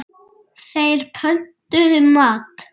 Þeir pöntuðu mat.